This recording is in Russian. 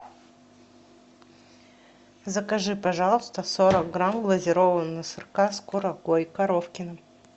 закажи пожалуйста сорок грамм глазированного сырка с курагой коровкино